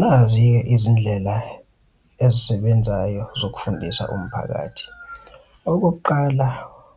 Nazi-ke izindlela ezisebenzayo zokufundisa umphakathi. Okokuqala,